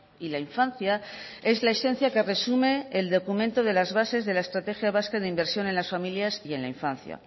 y la infancia es la esencia que resume el documento de las bases de la estrategia vasca de inversión en las familias y en la infancia